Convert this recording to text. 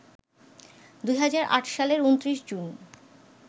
২০০৮সালের ২৯ June